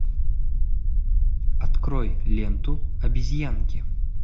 открой ленту обезьянки